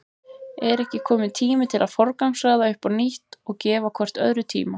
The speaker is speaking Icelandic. Er ekki kominn tími til að forgangsraða upp á nýtt og gefa hvort öðru tíma?